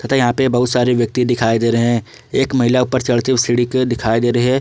यहां पर बहुत सारे व्यक्ति दिखाई दे रहे हैं एक महिला ऊपर चढ़ती सीढ़ी के दिखाई दे रही है।